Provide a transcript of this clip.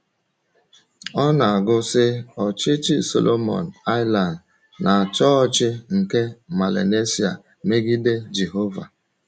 Ọ na-àgụ, sị: “Ọ̀chịchì Solomon Islands na Chọọchì nke Melanesia megide Jèhòvá.”